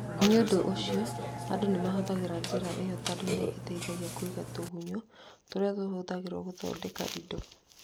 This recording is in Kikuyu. Nĩ ũndũ ũcio, andũ nĩ mahũthagĩra njĩra ĩyo tondũ nĩ ĩteithagia kũiga tũgunyũ tũrĩa tũhũthagĩrũo gũthondeka indo.